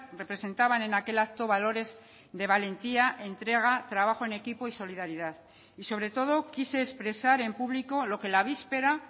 representaban en aquel acto valores de valentía entrega trabajo en equipo y solidaridad y sobre todo quise expresar en público lo que la víspera